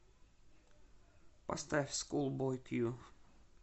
поставь скул бой кью